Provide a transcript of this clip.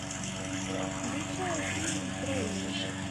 включай фильм тролли